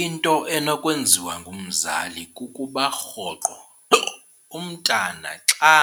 Into enokwenziwa ngumzali kukuba rhoqo umntana xa